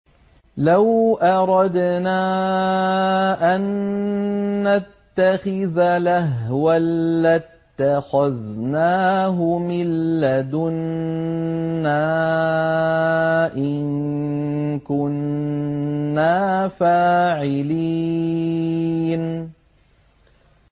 لَوْ أَرَدْنَا أَن نَّتَّخِذَ لَهْوًا لَّاتَّخَذْنَاهُ مِن لَّدُنَّا إِن كُنَّا فَاعِلِينَ